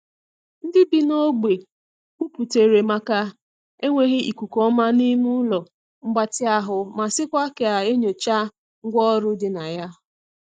Ndị bi n’ogbe kwuputere maka enweghị ikuku ọma n'ime ụlọ mgbatị ahụ ma sịkwa ka e nyochaa ngwa ọrụ di na ya.